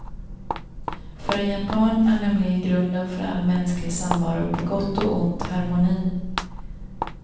För en japan är nämligen grunden för all mänsklig samvaro på gott och ont harmoni.